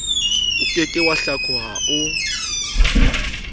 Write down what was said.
oke ke wa hlakoha o